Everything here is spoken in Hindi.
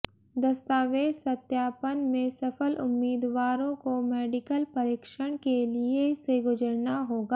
दस्तावेज सत्यापन में सफल उम्मीदवारों को मेडिकल परीक्षण के लिए से गुजरना होगा